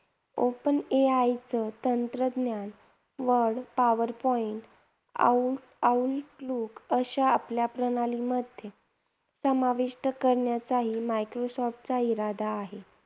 Open AI च तंत्रज्ञान word, power point आणि outlook अशा आपल्या प्रणालीमध्ये समाविष्ट करण्याचाही मायक्रोसॉफ्टचा इरादा आहे.